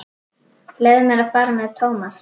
Leyfðu mér að fara með Thomas.